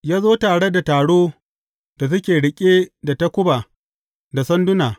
Ya zo tare da taro da suke riƙe da takuba da sanduna.